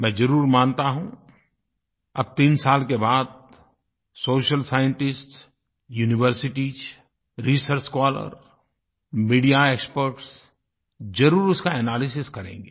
मैं ज़रूर मानता हूँ अब तीन साल के बाद social scientists universities research scholars media experts ज़रूर इसका एनालिसिस करेंगे